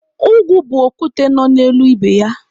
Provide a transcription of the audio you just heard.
Ugwu bụ okwute nọ n'elu ibe ya.